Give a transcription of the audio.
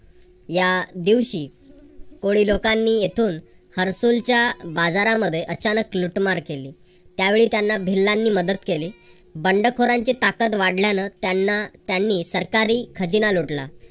या दिवशी कोळी लोकांनी येथून हरसूलच्या बाजारांमध्ये अचानक लुटमार केली. त्यावेळी त्यांना भिल्लानी मदत केली. बंडखोरांची ताकद वाढल्यानं त्यांना त्यांनी सरकारी खजिना लुटला.